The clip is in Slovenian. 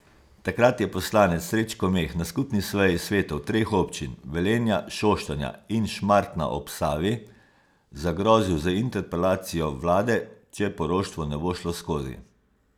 Takrat je poslanec Srečko Meh na skupni seji svetov treh občin, Velenja, Šoštanja in Šmartna ob Savi zagrozil z interpelacijo vlade, če poroštvo ne bo šlo skozi.